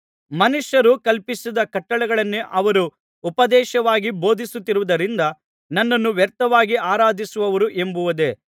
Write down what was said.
ಮನುಷ್ಯರು ಕಲ್ಪಿಸಿದ ಕಟ್ಟಳೆಗಳನ್ನೇ ಅವರು ಉಪದೇಶವಾಗಿ ಬೋಧಿಸುತ್ತಿರುವುದರಿಂದ ನನ್ನನ್ನು ವ್ಯರ್ಥವಾಗಿ ಆರಾಧಿಸುವರು ಎಂಬುದೇ